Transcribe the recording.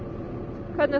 hvernig